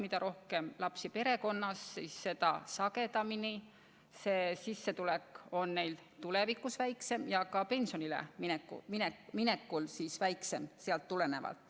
Mida rohkem lapsi perekonnas, seda sagedamini on ema sissetulek tulevikus väiksem ja ka pension sellest tulenevalt väiksem.